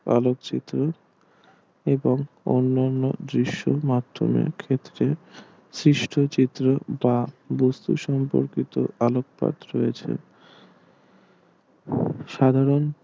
আলোক চিত্র এবং অন্যান্য দৃশ মাধ্যমে এক্ষেত্রে শিষ্ট চিত্র বা বস্তু সম্পর্কিত আলোকপাত রয়েছে সাধারণ